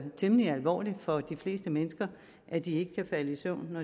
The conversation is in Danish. temmelig alvorligt for de fleste mennesker at de ikke kan falde i søvn